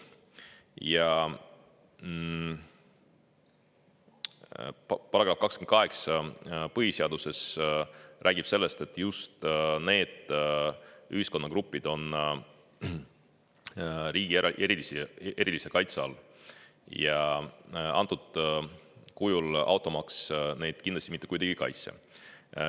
Põhiseaduse § 28 räägib sellest, et just need ühiskonnagrupid on riigi erilise kaitse all, aga antud kujul automaks neid kindlasti mitte kuidagi ei kaitse.